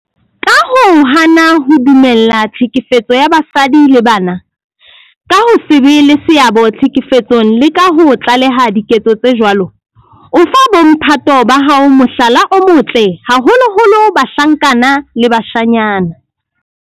Ka ho hana ho dumella tlhekefetso ya basadi le bana, ka ho se be le seabo tlhekefetsong le ka ho tlaleha diketso tse jwalo, o fa bo mphato ba hao mohlala o motle, haholoholo bahlankana le bashanyana.